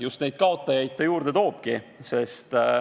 Just neid kaotajaid ta juurde toobki.